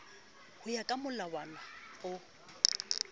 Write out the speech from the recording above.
ho ya ka molawana no